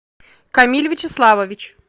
камиль вячеславович